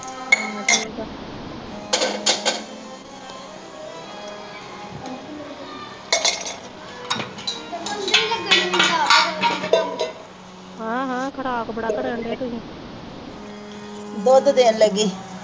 ਹਾਂ, ਹਾਂ, ਖਰਾਬ ਬੜਾ ਕਰਾਉਂਦੇ ਤੁਸੀਂ।